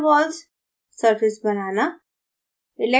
van der waals surface banana